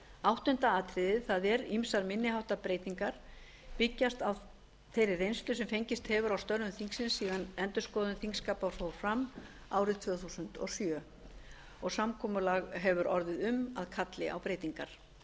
áttunda atriðið það er ýmsar minni háttar breytingar byggist á þeirri reynslu sem fengist hefur í störfum þingsins síðan endurskoðun þingskapa fór fram árið tvö þúsund og sjö og samkomulag hefur orðið um að kalli á breytingar